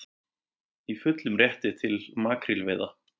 Í fullum rétti til makrílveiða